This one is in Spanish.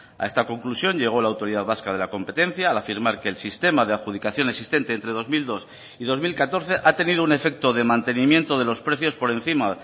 a esta conclusión llegó la autoridad vasca de la competencia al afirmar que el sistema de adjudicación existente entre dos mil dos y dos mil catorce ha tenido un efecto de mantenimiento de los precios por encima